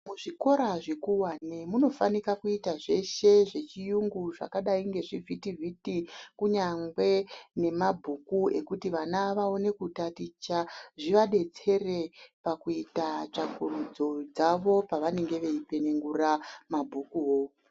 Muzvikora zvikuwane munofanika kuita zveshe zvechiyungu zvakadai ngezvivhitivhiti kunyangwe nemabhuku ekuti vana vaone kutaticha zvivadetsere pakuita tsvakurudzo dzavo pavanenge veipenengura mabhukuwo.